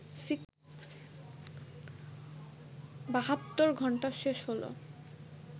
বাহাত্তর ঘণ্টা শেষ হল